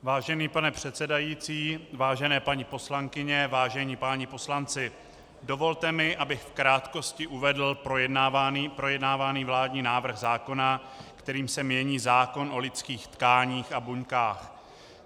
Vážený pane předsedající, vážené paní poslankyně, vážení páni poslanci, dovolte mi, abych v krátkosti uvedl projednávaný vládní návrh zákona, kterým se mění zákon o lidských tkáních a buňkách.